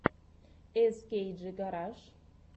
эскейджи гараж